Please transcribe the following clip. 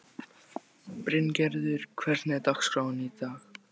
Bryngerður, hvernig er dagskráin?